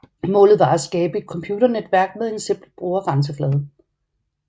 Målet var at skabe et computernetværk med en simpel brugergrænseflade